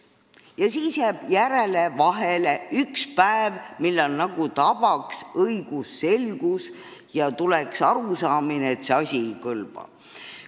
Ja järgmisel päeval tabab asjaosalisi nagu õigusselgus ja tekib arusaamine, et see tekst ei kõlba.